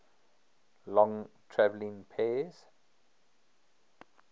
long traveling pairs